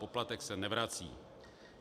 Poplatek se nevrací.